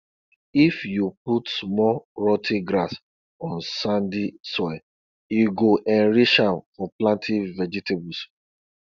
if you put small rot ten grass on sandy soil e go enrich am for planting vegetables